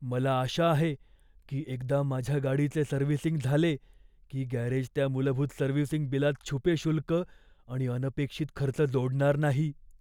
मला आशा आहे की एकदा माझ्या गाडीचे सर्व्हिसिंग झाले की गॅरेज त्या मूलभूत सर्व्हिसिंग बिलात छुपे शुल्क आणि अनपेक्षित खर्च जोडणार नाही.